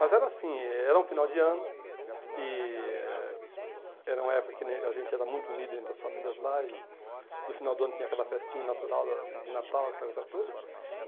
Mas era assim, era um final de ano e era uma época que a gente era muito unido entre as famílias lá e no final do ano tinha aquela festinha natural da de Natal, aquela coisa toda.